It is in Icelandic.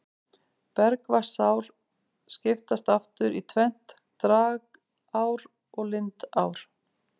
Bergvatnsár skiptast aftur í tvennt, dragár og lindár.